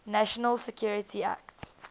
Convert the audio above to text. national security act